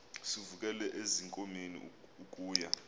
sivukele ezinkomeni ukuya